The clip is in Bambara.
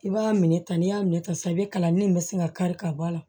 I b'a minɛ tan n'i y'a minɛ ka san i bɛ kalanni min sin ka kari ka bɔ a la